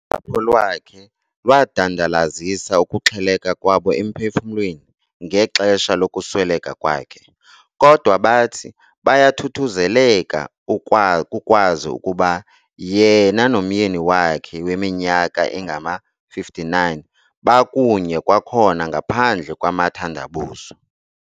Usapho lwakhe lwadandalazisa ukuxheleka kwabo emphefumlweni ngexesha lokusweleka kwakhe, kodwa bathi bayathuthuzeleka kukwazi ukuba yena nomyeni wakhe weminyaka engama-59 bakunye kwakhona ngaphandle kwamathandabuzo.